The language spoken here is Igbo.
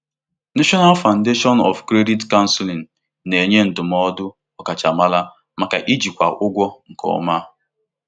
Ọtụtụ ndị ọkachamara na-akwado iji òtù ụlọ ọrụ ndị anaghị akwụ ụgwọ nke Ntọala Mba maka Ndụmọdụ Mba maka Ndụmọdụ Kredit kwadoro.